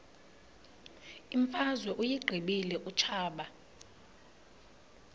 imfazwe uyiqibile utshaba